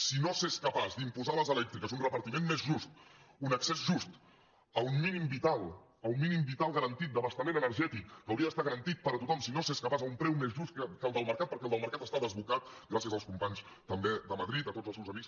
si no s’és capaç d’imposar a les elèctriques un repartiment més just un accés just a un mínim vital a un mínim vital garantit d’abastament energètic que hauria d’estar garantit per a tothom si no s’és capaç a un preu més just que el del mercat perquè el del mercat està desbocat gràcies als companys també de madrid a tots els seus amics